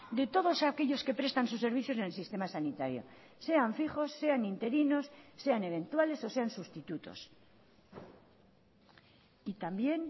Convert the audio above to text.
de todos aquellos que prestan sus servicios en el sistema sanitario sean fijos sean interinos sean eventuales o sean sustitutos y también